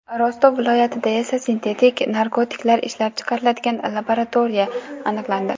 Rostov viloyatida esa sintetik narkotiklar ishlab chiqariladigan laboratoriya aniqlandi.